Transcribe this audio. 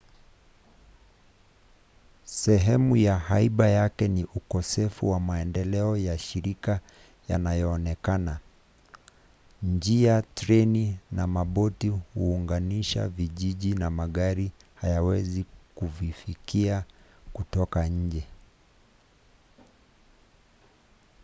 sehemu ya haiba yake ni ukosefu wa maendeleo ya shirika yanayoonekana. njia treni na maboti huunganisha vijiji na magari hayawezi kuvifikia kutoka nje